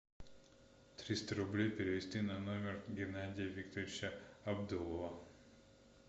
триста рублей перевести на номер геннадия викторовича абдулова